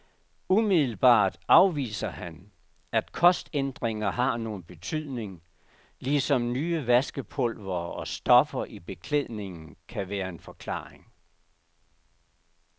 Umiddelbart afviser han, at kostændringer har nogen betydning, ligesom nye vaskepulvere og stoffer i beklædningen kan være en forklaring.